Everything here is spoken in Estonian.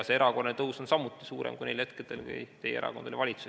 See erakordne tõus on samuti suurem kui neil hetkedel, kui teie erakond oli valitsuses.